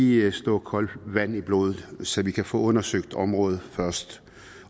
lige slå koldt vand i blodet så vi kan få undersøgt området først